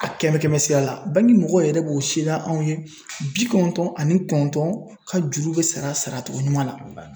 A kɛmɛ kɛmɛ sira la mɔgɔw yɛrɛ b'o sereya anw ye bi kɔnɔntɔn ani kɔnɔntɔn ka juru bɛ sara saracogo ɲuman na .